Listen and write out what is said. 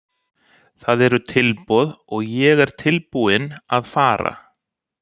Það eru tilboð og ég er tilbúinn að fara.